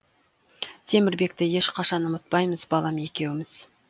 темірбекті ешқашан ұмытпаймыз балам екеуміз